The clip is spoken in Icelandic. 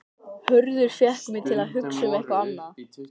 Hörður fékk mig til að hugsa um eitthvað annað.